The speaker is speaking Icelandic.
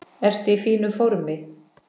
Ertu í fínu formi?